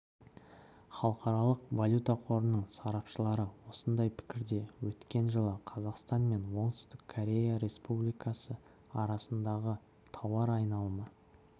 халықаралық валюта қорының сарапшылары осындай пікірде өткен жылы қазақстан мен оңтүстік корея республикасы арасындағы тауар айналымы